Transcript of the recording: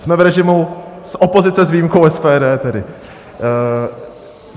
Jsme v režimu - z opozice s výjimkou SPD tedy...